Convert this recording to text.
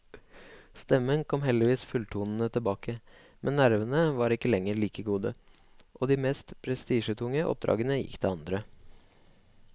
Stemmen kom heldigvis fulltonende tilbake, men nervene var ikke lenger like gode, og de mest prestisjetunge oppdragene gikk til andre.